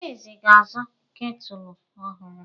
Adaeze ga-azụ ketụlụ ọhụrụ.